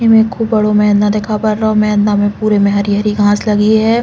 इमे खूब बड़ो मेदना नहीं दिखा पा रहो है। मेदना में पूरे में हरी-हरी घास लगी है।